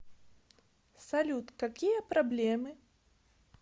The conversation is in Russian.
салют какие проблемы